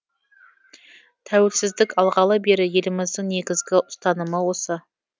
тәуелсіздік алғалы бері еліміздің негізгі ұстанымы осы